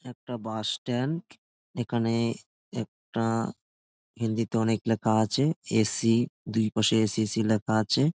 একটা bus stand এখানে একটা হিন্দিতে অনেক লেখা আছে এ সি দুই পাশে এ সি এ সি লেখা আছে।